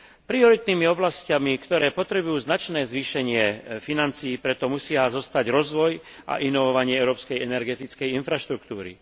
Prioritnými oblasťami, ktoré potrebujú značné zvýšenie financií, preto musia zostať rozvoj a inovovanie európskej energetickej infraštruktúry.